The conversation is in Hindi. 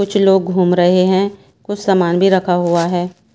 कुछ लोग घूम रहे हैं कुछ सामान भी रखा हुआ है।